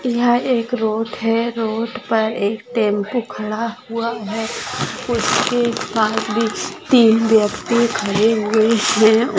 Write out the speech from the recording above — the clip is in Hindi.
यहा एक रोड है रोड पर एक टॅम्पो खड़ा हुआ है उसके पास भी तीन व्यक्ति खड़े हुए है।